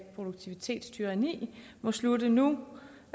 produktivitetstyranni må slutte nu